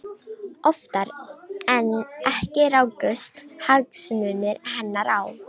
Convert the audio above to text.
Oftar en ekki rákust hagsmunir hennar á.